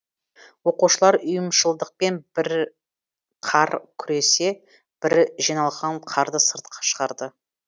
оқушылар ұйымшылдықпен бірі қар күресе бірі жиналған қарды сыртқа шығарды